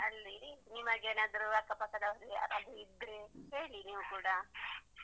ಅಲ್ಲಿ ನಿಮಗೇನಾದ್ರು ಅಕ್ಕ ಪಕ್ಕದವರು ಯಾರಾದ್ರೂ ಇದ್ರೆ ಹೇಳಿ ನೀವು ಕೂಡ.